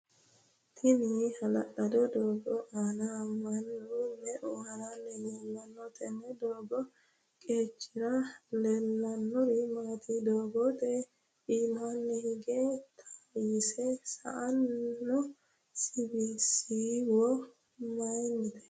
Tenne ha'lalado doogo aanna mannu me"eu haranni leelano? Tenne doogo qacera leelanori maati? Doogote iimaanni hige tayise sa'ino siiwo mayinnite?